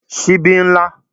Sibí n lá